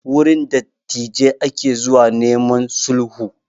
Wurin dattijai ake zuwa neman sulhu